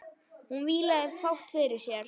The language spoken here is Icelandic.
Hún vílaði fátt fyrir sér.